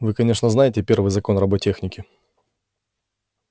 вы конечно знаете первый закон роботехники